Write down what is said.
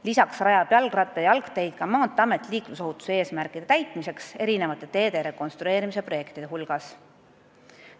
Lisaks rajab ka Maanteeamet jalgratta- ja jalgteid liiklusohutuse eesmärkide täitmiseks teede rekonstrueerimise projektide käigus.